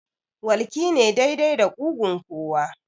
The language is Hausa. Walƙi ne daidai da ƙugun kowa